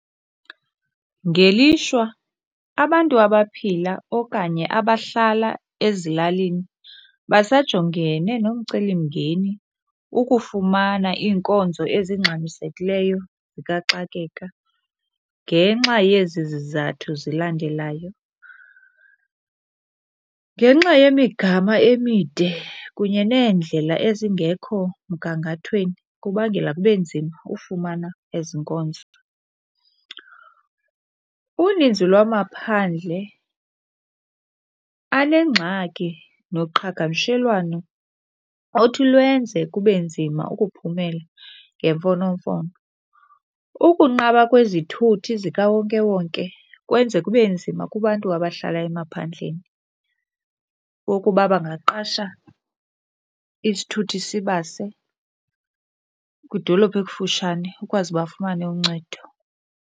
Ngelishwa abantu abaphila okanye abahlala ezilalini basajongene nomcelimngeni ukufumana iinkonzo ezingxamisekileyo zikaxakeka ngenxa yezi zizathu zilandelayo. Ngenxa yemigama emide kunye neendlela ezingekho mgangathweni kubangela kube nzima ufumana ezi nkonzo. Uninzi lwamaphandle anengxaki noqhagamshelwano othi lwenze kube nzima ukuphumela ngemfonomfono. Ukunqaba kwezithuthi zikawonkewonke kwenza kube nzima kubantu abahlala emaphandleni wokuba bangaqasha isithuthi sibase kwidolophu ekufutshane ukwazi bafumane uncedo.